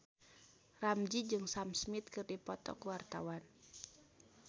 Ramzy jeung Sam Smith keur dipoto ku wartawan